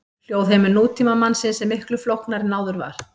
Hljóðheimur nútímamannsins er miklu flóknari en áður var.